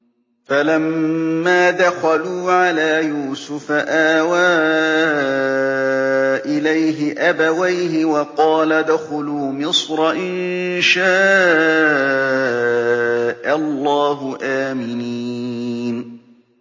فَلَمَّا دَخَلُوا عَلَىٰ يُوسُفَ آوَىٰ إِلَيْهِ أَبَوَيْهِ وَقَالَ ادْخُلُوا مِصْرَ إِن شَاءَ اللَّهُ آمِنِينَ